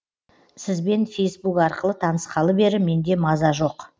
сізбен фейсбук арқылы танысқалы бері менде маза жоқ